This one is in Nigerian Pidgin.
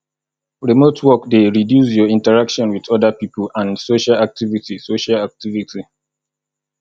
remote work dey reduce your interaction with oda people and social activity social activity